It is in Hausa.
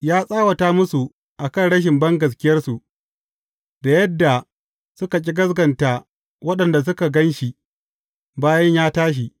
Ya tsawata musu a kan rashin bangaskiyarsu, da yadda suka ƙi gaskata waɗanda suka gan shi bayan ya tashi.